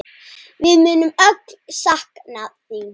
Við munum öll sakna þín.